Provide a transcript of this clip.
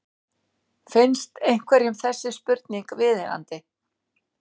Finnst einhverjum þessi spurning viðeigandi?